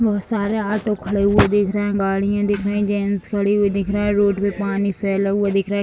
बहुत सारे ऑटो खड़े हुए दिख रहे हैं गाड़ियां दिख रही हैं जेंट्स खड़े हुए दिख रहे हैं रोड पे पानी फैला हुआ दिख रहा है।